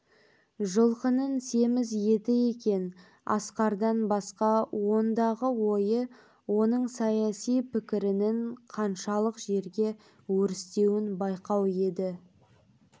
жылқының семіз еті екен асқардан басқа ондағы ойы оның саяси пікірінің қаншалық жерге өрістеуін байқау еді